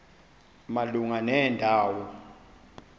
malunga nenda wo